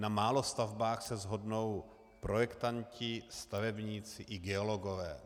Na málo stavbách se shodnou projektanti, stavebníci i geologové.